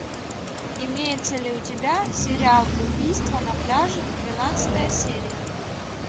имеется ли у тебя сериал убийство на пляже двенадцатая серия